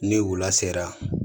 Ni u la sera